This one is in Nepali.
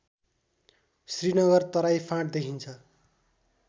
श्रीनगर तराई फाँट देखिन्छ